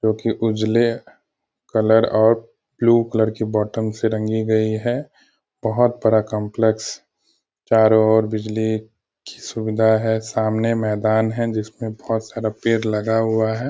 जो की उजले कलर और ब्लू कलर की बॉटम से रंगी गयी हैं बहुत बड़ा काम्प्लेक्स चारों ओर बिजली की सुविधा है सामने मैदान है जिसमें बहुत सारा पेड़ लगा हुआ है।